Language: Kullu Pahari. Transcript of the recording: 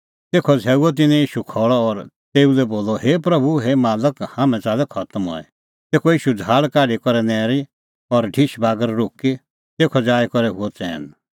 तेखअ झ़ैऊअ तिन्नैं ईशू खल़अ और तेऊ लै बोलअ हे प्रभू हे मालक हाम्हैं च़ाल्लै खतम हई तेखअ ईशू झ़ाहल़ काढी करै नैरी और ढिश बागर रुकी तेखअ जाई करै हुअ चैन